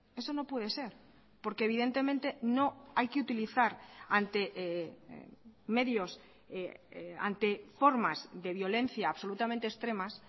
eso no puede ser porque evidentemente no hay que utilizar ante medios ante formas de violencia absolutamente extremas